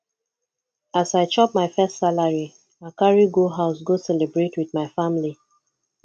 as i chop my first salary i carry go house go celebrate with my family